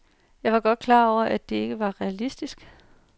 Jeg var godt klar over, at det var ikke realistisk.